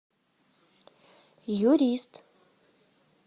юрист